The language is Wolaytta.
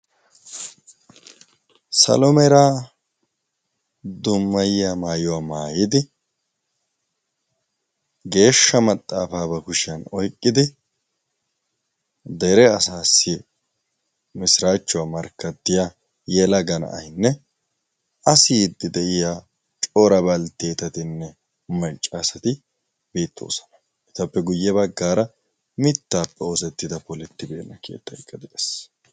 salo meera dumayiya maayuwaa maayidi geeshsha maxaafaa ba kushiyan oyqqidi dere asaassi mishiraachchuwaa markkaddiya yelaga na'aynne asiiiddi de'iya coora balttiitatinne maccaasati biittoosana. etappe guyye baggaara mittaappe oosettida polittibeenna keettaykka de'ees.